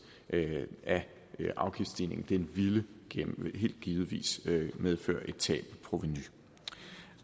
af afgiftsstigningen ville givetvis medføre et tab af provenu